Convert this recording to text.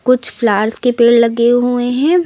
कुछ फ्लाअर्स के पेड़ लगे हुए हैं।